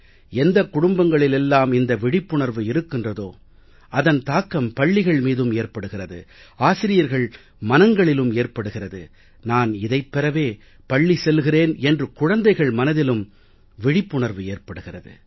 எந்தக் குடும்பங்களில் எல்லாம் இந்த விழிப்புணர்வு இருக்கிறதோ அதன் தாக்கம் பள்ளிகள் மீதும் ஏற்படுகிறது ஆசிரியர்கள் மனங்களிலும் ஏற்படுகிறது நான் இதைப் பெறவே பள்ளி செல்கிறேன் என்று குழந்தைகள் மனதிலும் விழிப்புணர்வு ஏற்படுகிறது